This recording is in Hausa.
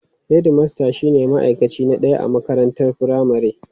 Hedmasta shine ma'aikaci na ɗaya a makarantar firamare.